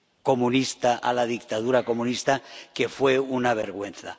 comunista, a la dictadura comunista, que fue una vergüenza.